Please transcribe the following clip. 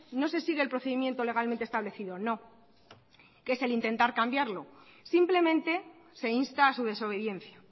no se sigue el procedimiento legalmente establecido no que es el intentar cambiarlo simplemente se insta a su desobediencia